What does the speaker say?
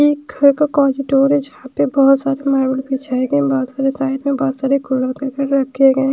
ये एक घर का क्वीडिडोर है जहां पे बहोत सारे बहोत सारे रखे गए--